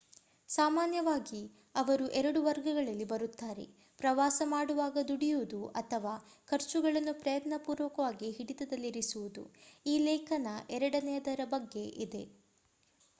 ಸಾಮಾನ್ಯವಾಗಿ ಅವರು ಎರಡು ವರ್ಗಗಳಲ್ಲಿ ಬರುತ್ತಾರೆ ಪ್ರವಾಸ ಮಾಡುವಾಗ ದುಡಿಯುವುದು ಅಥವಾ ಖರ್ಚುಗಳನ್ನು ಪ್ರಯತ್ನ ಪೂರಕವಾಗಿ ಹಿಡಿತದಲ್ಲಿರಿಸುವುದು ಈ ಲೇಖನ ಎರಡನೆಯದರ ಬಗ್ಗೆ ಇದೆ